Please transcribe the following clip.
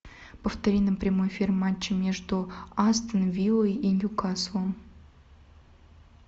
повтори нам прямой эфир матча между астон виллой и ньюкаслом